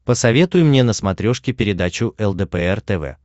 посоветуй мне на смотрешке передачу лдпр тв